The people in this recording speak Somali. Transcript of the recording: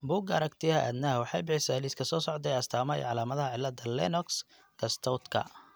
Bugga Aragtiyaha Aadanaha waxay bixisaa liiska soo socda ee astaamaha iyo calaamadaha cillada Lennox Gastautka.